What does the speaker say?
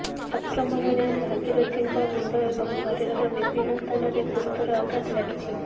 ଆକ୍ରମଣରେ ଭାଗୀରଥିଙ୍କ ମୁଣ୍ଡ ଏବଂ ଶରୀରର ବିଭିନ୍ନ ସ୍ଥାନରେ ଗୁରୁତର ଆଘାତ ଲାଗିଛି